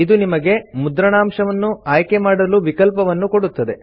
ಇದು ನಿಮಗೆ ಮುದ್ರಣಾಂಶವನ್ನು ಆಯ್ಕೆ ಮಾಡಲು ವಿಕಲ್ಪವನ್ನು ಕೊಡುತ್ತದೆ